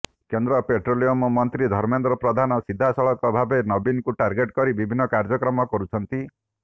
କେନ୍ଦ୍ର ପେଟ୍ରୋଲିୟମ ମନ୍ତ୍ରୀ ଧର୍ମେନ୍ଦ୍ର ପ୍ରଧାନ ସିଧାସଳଖ ଭାବେ ନବୀନଙ୍କୁ ଟାର୍ଗଟେ କରି ବିଭିନ୍ନ କାର୍ଯ୍ୟକ୍ରମ କରୁଛନ୍ତି